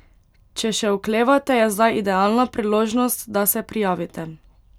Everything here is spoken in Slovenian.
Če še oklevate, je zdaj idealna priložnost, da se prijavite.